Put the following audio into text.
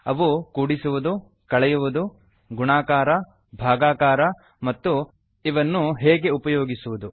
ಅವು - ಕೂಡಿಸುವುದು ಕಳೆಯುವುದು ಗುಣಾಕಾರ ಭಾಗಾಕಾರ ಮತ್ತು ಇವನ್ನು ಹೇಗೆ ಉಪಯೋಗಿಸುವುದು